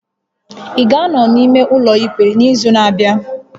Ị ga-anọ n'ime ụlọ ikpe n'izu na-abịa?